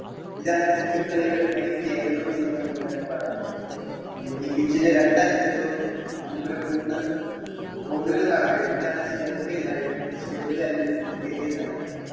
ഇതാണ് cricket കളിയുടെ main കേന്ദ്രം എന്ന് വേണമെങ്കിൽ നമ്മുക്ക് പറയാൻ കഴിയും. പിന്നെ ഈ pitch ലെ രണ്ടറ്റത്തും നമുക്കൊരു മൂന്ന് കോലുകൾ കാണാൻ കഴിയും ഇതാണ് stump എന്ന് അറിയപ്പെടുന്നത് stump അല്ലെങ്കിൽ wicket എന്ന് അറിയപ്പെടുന്നത്.